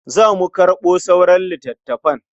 Za mu karɓo sauran littafan.